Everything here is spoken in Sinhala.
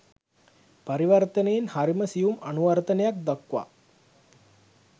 පරිවර්තනයෙන් හරිම සියුම් අනුවර්තනයක් දක්වා